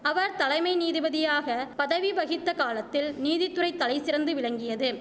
அவர் தலைமை நீதிபதியாக பதவி வகித்த காலத்தில் நீதித்துறை தலைசிறந்து விளங்கியது